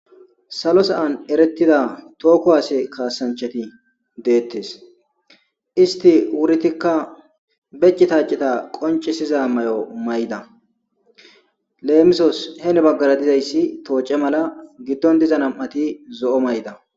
Salo sa7an erettida toho kuwase kaasanchati deettes. Estti uretikka be cita cita qonccisiza mayo mayida. Leemisos heni baggara dizayssi tooce mala giddondiza nam7ati zo7o mayida